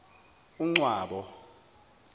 uncwabo